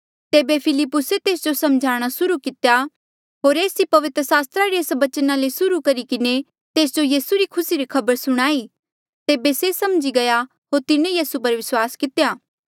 तेबे फिलिप्पुसे तेस जो समझाणा सुर्हू कितेया होर एस ई पवित्र सास्त्रा रे एस बचना ले सुर्हू करी किन्हें तेस जो यीसू री खुसी री खबर सुणाई तेबे से समझी गया होर तिन्हें यीसू पर विस्वास कितेया